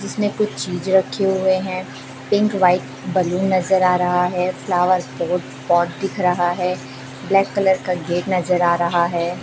जिसमें कुछ चीज रखे हुए है पिंक व्हाइट बैलून नजर आ रहा है फ्लावर्स पॉट पॉट दिख रहा है ब्लैक कलर का गेट नजर आ रहा हैं।